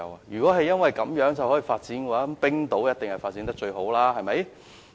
如果地利可以讓一個地方發展起來，那麼冰島一定發展得最好。